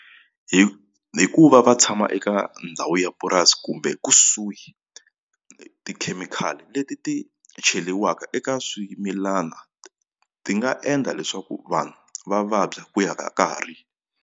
hi ku va va tshama eka ndhawu ya purasi kumbe kusuhi tikhemikhali leti ti cheriwaka eka swimilana ti nga endla leswaku vanhu va vabya ku ya ka nkarhi.